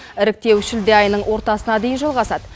іріктеу шілде айының ортасына дейін жалғасады